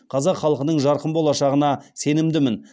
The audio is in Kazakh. қазақ халқының жарқын болашағына сенімдімін